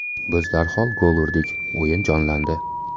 Biz darhol gol urdik, o‘yin jonlandi.